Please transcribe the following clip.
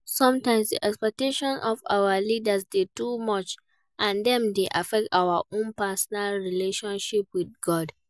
Sometimes, di expectations of our leaders dey too much and dem dey affect our own personal relatioship with God.